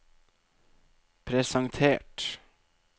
presentert